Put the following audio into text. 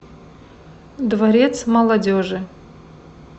дворец молодежи